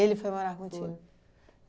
foi morar contigo? Foi.